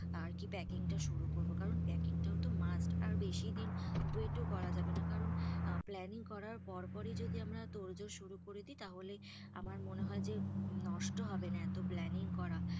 আর কি packing তা শুরু করবো, কারণ packing টাও তো must আর বেশি দিন wait করা যাবে না, কারণ planning করার পর পর ই যদি আমরা তোড়জোড় শুরু করে দি. তাহলে আমার মনে হয় যে নষ্ট হবে না এত planning করা.